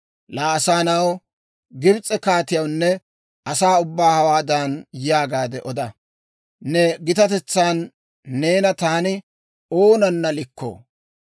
«Laa asaa na'aw, Gibs'e kaatiyawunne asaa ubbaw hawaadan yaagaade oda; ‹Ne gitatetsan neena taani oonana likkoo?